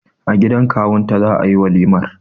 A gidan kawun ta za'a yi walimar.